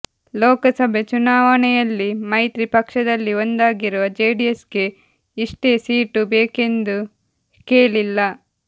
ಲೋಕಸಭೆ ಚುನಾವಣೆಯಲ್ಲಿ ಮೈತ್ರಿ ಪಕ್ಷದಲ್ಲಿ ಒಂದಾಗಿರುವ ಜೆಡಿಎಸ್ಗೆ ಇಷ್ಟೇ ಸೀಟು ಬೇಕೆಂದು ಕೇಳಿಲ್ಲ